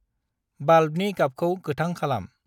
बाल्बनि गाबखौ गोथां खालाम।